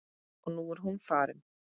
Og nú er hún farin.